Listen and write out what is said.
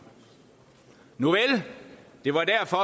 nuvel det var derfor